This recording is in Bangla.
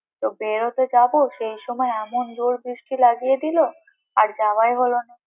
তো বেরোতে যাবো তো সেই সময় এমন জোর বৃষ্টি লাগিয়ে দিলো, আর যাওয়ায়ই হলো না।